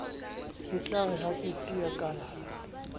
etlare ha ke tea kalala